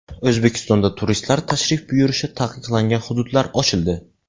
O‘zbekistonda turistlar tashrif buyurishi taqiqlangan hududlar ochildi .